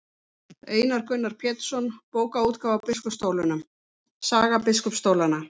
Einar Gunnar Pétursson, Bókaútgáfa á biskupsstólunum, Saga biskupsstólanna.